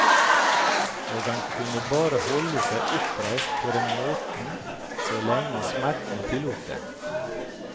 Og han kunne bare holde seg oppreist på den måten så lenge smertene tillot det.